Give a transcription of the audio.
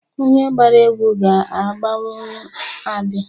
Onye gbara egwu ga-agbanwu abịa.